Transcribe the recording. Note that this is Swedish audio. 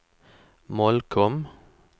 Molkom